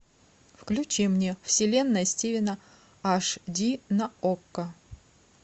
включи мне вселенная стивена аш ди на окко